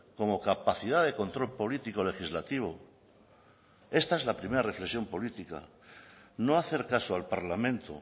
como capacidad de control político legislativo esta es la primera reflexión política no hacer caso al parlamento